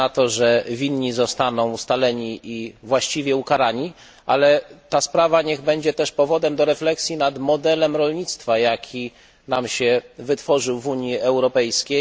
Liczę na to, że winni zostaną ustaleni i właściwie ukarani, ale ta sprawa niech będzie też powodem do refleksji nad modelem rolnictwa, jaki nam się wytworzył w Unii Europejskiej.